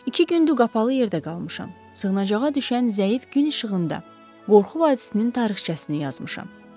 İki gündür qapalı yerdə qalmışam, sığınacağa düşən zəif gün işığında, qorxu vadisinin tarixçəsini yazmışam.